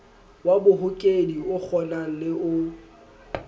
wa bohokedi okgonang le o